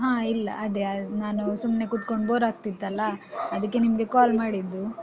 ಹ ಇಲ್ಲ ಅದೇ ನಾನು ಸುಮ್ನೆ ಕೂತ್ಕೊಂಡ್ bore ಆಗ್ತಿತ್ತಲ್ಲ ಅದಕ್ಕೆ ನಿಮ್ಗೇ call ಮಾಡಿದ್ದು.